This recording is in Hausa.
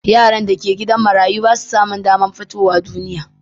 Yaran da ke gidan marayu ba su samun damar fitowa duniya